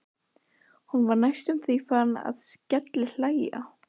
Hún var næstum því farin að skellihlæja.